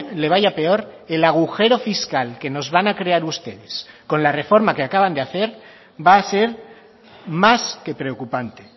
le vaya peor el agujero fiscal que nos van a crear ustedes con la reforma que acaban de hacer va a ser más que preocupante